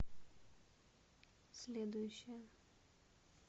следующая